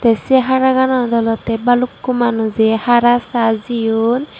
se haraganot olode baluko manuje hara sa jeyon.